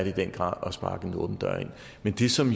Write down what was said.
i den grad at sparke en åben dør ind men det som